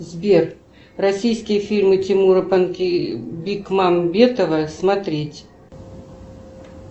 сбер российские фильмы тимура бекмамбетова смотреть